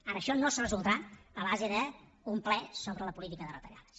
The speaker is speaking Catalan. ara això no es resoldrà a base d’un ple sobre la política de retallades